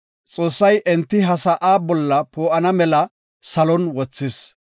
Xoossay enti ha sa7a bolla poo7ana mela salon wothis.